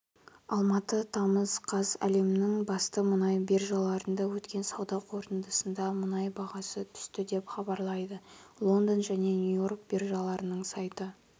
алматы тамыз қаз әлемнің басты мұнай биржаларында өткен сауда қортындысында мұнай бағасы түсті деп хабарлайды лондон және нью-йорк биржаларының сайты